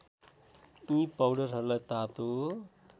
यी पाउडरहरूलाई तातो